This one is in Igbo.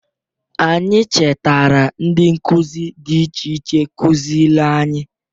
Anyi chetara ndị nkụzị dị iche iche kụzịlị anyị.